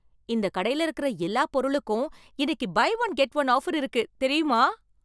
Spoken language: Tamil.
இந்தக் கடையில இருக்கிற எல்லா பொருளுக்கும் இன்னைக்கு buy one get one offer இருக்கு, தெரியுமா?